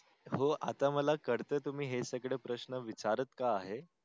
हो आता मला कडत हे तुम्ही सगळे प्रश्न विचारत का आहे.